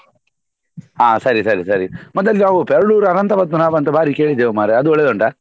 ಹ ಸರಿ ಸರಿ ಸರಿ ಮತ್ತಲ್ಲಿ ಯಾವ್ದೋ Perdoor . ಅನಂತ ಪದ್ಮನಾಭ ಅಂತ ಭಾರಿ ಕೇಳಿದ್ದೇವೆ ಮಾರ್ರೆ ಅದು ಒಳ್ಳೆದುಂಟಾ?